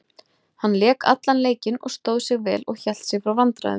Hann lék allan leikinn og stóð sig vel og hélt sig frá vandræðum.